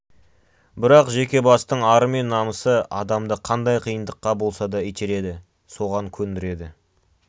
бірақ жеке бастың ары мен намысы адамды қандай қиындыққа болса да итереді соған көндіреді